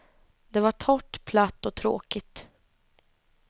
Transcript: Det var torrt, platt och tråkigt.